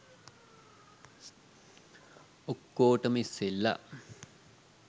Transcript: ඔක්කොටම ඉස්සෙල්ලා